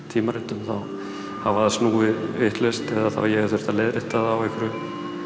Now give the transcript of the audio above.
tímaritum þá hafa þær snúið vitlaust eða ég hef þurft að leiðrétta þær á einhverjum